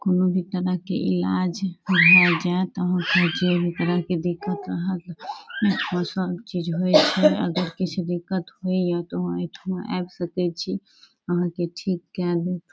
बहुत तरह के इलाज वहाँ जा त ओकरा के देखता। वहाँ सब चीज होए छे अगर कुछ दिक्कत होइ या तो वहाँ के ठीके आदमी --